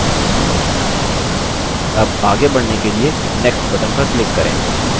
अब आगे बढ़ने के लिए next button पर click करें